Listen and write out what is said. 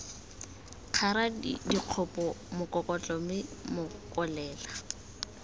kgara dikgopo mokokotlo mme mokolela